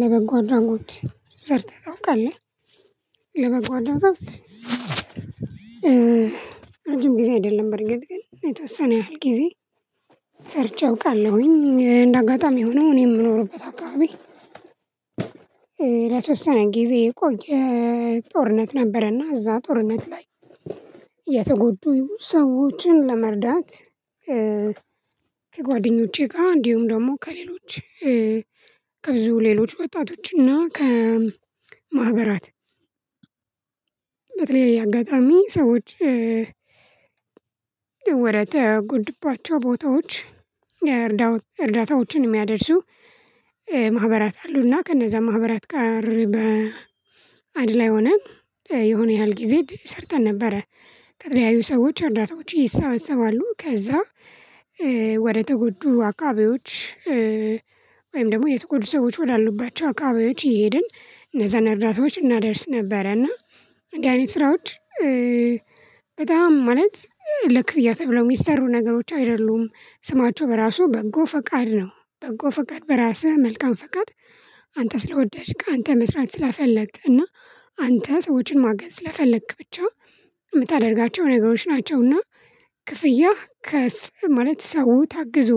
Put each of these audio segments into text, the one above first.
ለበጎ አድራጎት ሰርተህ ታውቃለህ? ለበጎ አድራጎት ረጅም ጊዜ አይደለም በርግጥ ግን የተወሰነ ያህል ጊዜ። ሰርቼ አውቃለሁኝ እንደ አጋጣሚ ሆኖ እኔ የምኖርበት አካባቢ። ለተወሰነ ጊዜ የቆየ ጦርነት ነበረ እና እዛ ጦርነት ላይ የተጎዱ ሰዎችን ለመርዳት። ከጓደኞቼ ጋር እንዲሁም ደግሞ ከሌሎች ከብዙ ሌሎች ወጣቶችና ከማህበራት። በተለያየ አጋጣሚ ሰዎች። ወደተጎዱባቸው ቦታዎች እርዳው እርዳታዎችን የሚያደርሱ ማህበራት አሉና ከነዛ ማህበራት ጋር በአንድ ላይ ሆነን የሆነ ያህል ጊዜ ሰርተን ነበረ። ከተለያዩ ሰዎች እርዳታዎች ይሰበሰባሉ ከዛ ወደ ተጎዱ አካባቢዎች። ወይም ደግሞ የተጎዱ ሰዎች ወዳሉባቸው አካባቢዎች እየሄድን እነዛን እርዳታዎች እናደርስ ነበረ እና እንዲህ አይነት ስራዎች። በጣም ማለት ለክፍያ ተብለው የሚሰሩ ነገሮች አይደሉም ስማቸው በራሱ በጎ ፈቃድ ነው። በጎ ፈቃድ በራስህ መልካም ፈቃድ አንተ ስለወደድክ አንተ መስራት ስለፈለክ እና አንተ ሰዎችን ማገዝ ስለፈለክ ብቻ የምታደርጋቸው ነገሮች ናቸው። እና ክፍያህ ከስ ማለት ሰው ታግዞ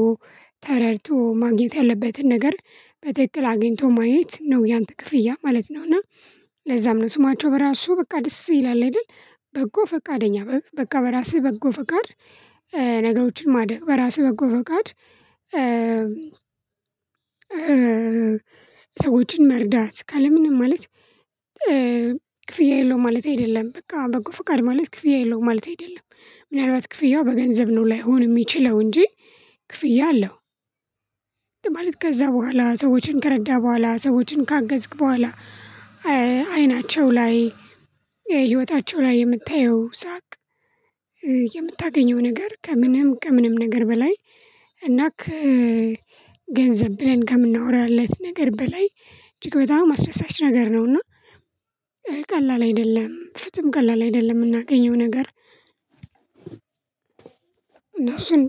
ተረድቶ ማግኘት ያለበትን ነገር በትክክል አግኝቶ ማየት ነው ያንተ ክፍያ ማለት ነው። እና ለዛም ነው ስማቸው በራሱ በቃ ደስ ይላል አይደል? በጎ ፈቃደኛ በ በቃ በራስህ በጎ ፈቃድ። ነገሮችን ማድረግ በራስህ በጎ ፈቃድ። ሰዎችን መርዳት ካለምንም ማለት ክፍያ የለውም ማለቴ አይደለም በቃ በጎ ፍቃድ ማለት ክፍያ የለውም ማለቴ አይደለም። ምናልባት ክፍያው በገንዘብ ነው ላይሆን የሚችለው እንጂ ክፍያ አለው። ማለት ከዛ በኋላ ሰዎችን ከረዳ በኋላ ሰዎችን ካገዝክ በኋላ። አይናቸው ላይ ህይወታቸው ላይ የምታየው ሳቅ። የምታገኘው ነገር ከምንም ከምንም ነገር በላይ እና ከ ገንዘብ ብለን ከምናወራለት ነገር በላይ እጅግ አስደሳች ነገር ነው። እና ቀላል አይደለም ፍጹም ቀላል አይደለም። የምናገኘው ነገር እነሱን